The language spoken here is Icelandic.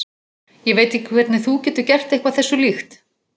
Ég veit ekki hvernig þú getur gert eitthvað þessu líkt.